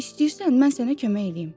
İstəyirsən, mən sənə kömək eləyim.